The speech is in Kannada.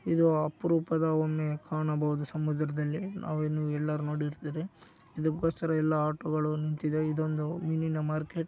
ಇದು ಅಪರೂಪದ ಒಮ್ಮೆ ಕಾಣಬಹುದು. ಸಮುದ್ರದಲ್ಲಿ ನಾವು ಇನ್ನು ಎಲ್ಲರೂ ನೋಡಿರ್ತೀರಿ ಇದಕೋಸ್ಕರ ಎಲ್ಲಾ ಆಟೋಗಳು ನಿಂತಿದೆ. ಇದೊಂದು ಮೀನಿನ ಮಾರ್ಕೆಟ್‌.